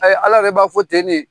Ayi, Ala yɛrɛ b'a fɔ ten de.